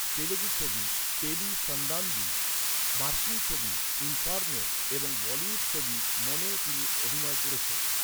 তেলুগু ছবি, পেলি সান্দাদি, মার্কিন ছবি, ইনফার্নো এবং বলিউড ছবি, মন এও তিনি অভিনয় করেছেন।